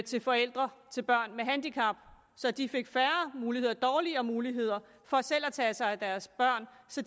til forældre til børn med handicap så de fik færre muligheder dårligere muligheder for selv at tage sig af deres børn så